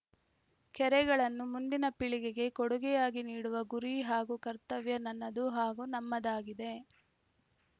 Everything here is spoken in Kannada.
ಕೆರೆಗಳನ್ನು ಮುಂದಿನ ಪೀಳಿಗೆಗೆ ಕೊಡುಗೆಯಾಗಿ ನೀಡುವ ಗುರಿ ಹಾಗೂ ಕರ್ತವ್ಯ ನನ್ನದು ಹಾಗೂ ನಮ್ಮದಾಗಿದೆ